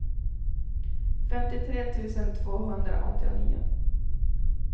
femtiotre tusen tvåhundraåttionio